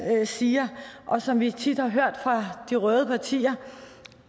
siger og som vi tit har hørt fra de røde partier